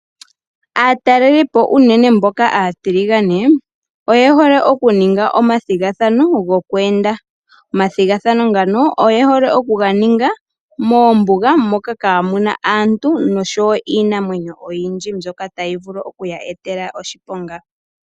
Aatalelipo unene mboka aatiligane, oye hole okuninga omathigathano gokweenda. Omathigathano ngano oye hole okuga ninga moombuga, moka kaamu na aantu nosho wo iinamwenyo oyindji mbyoka tayi vulu okuya etela oshiponga.